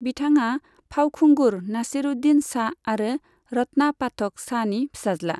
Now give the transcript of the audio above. बिथाङा फावखुंगुर नासीरुद्दीन शाह आरो रत्ना पाठक शाहनि फिसाज्ला।